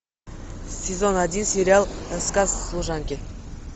сезон один сериал рассказ служанки